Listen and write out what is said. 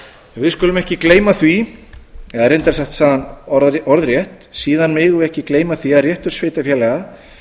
við skulum ekki gleyma því eða reyndar sagði hann orðrétt síðan megum við ekki gleyma því að réttur sveitarfélaga